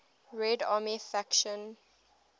red army faction